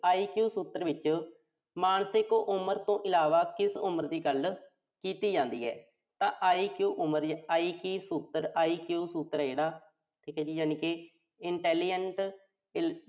IQ ਖੇਤਰ ਵਿੱਚ ਮਾਨਸਿਕ ਉਮਰ ਤੋਂ ਇਲਾਵਾ ਕਿਸ ਉਮਰ ਦੀ ਗੱਲ ਕੀਤੀ ਜਾਂਦੀ ਹੈ। ਤਾਂ IQ ਉਮਰ IQ ਖੇਤਰ ਆ ਜਿਹੜਾ, ਠੀਕਾ ਯਾਨੀ ਕਿ